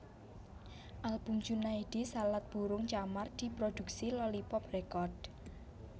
Album Junaedi Salat Burung Camar diproduksi Lolypop Record